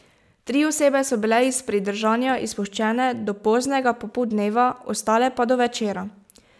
Tri osebe so bile iz pridržanja izpuščene do poznega popoldneva, ostale pa do večera.